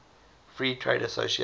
free trade association